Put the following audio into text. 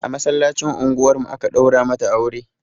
A masallacin unguwar mu aka ɗaura mata aure